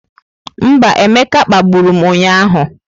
Mba, Emeka kpagburu m ụnyahụ.